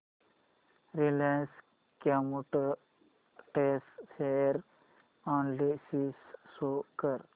Reliance Chemotex share analysis show कर